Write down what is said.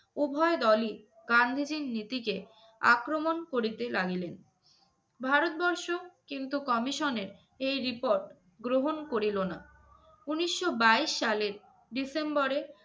উভয় দলই গান্ধীজীর নীতিকে আক্রমণ করিতে লাগিলেন। ভারতবর্ষ কিন্তু commission এর এই report গ্রহণ করিল না। উনিশশো বাইশ সালের ডিসেম্বরে